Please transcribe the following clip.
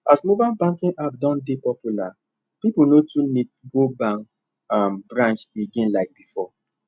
as mobile banking app don dey popular people no too need go bank um branch again like before